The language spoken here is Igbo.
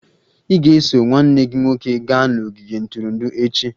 Ị ga-eso nwanne gị nwoke gaa n'ogige ntụrụndụ echi!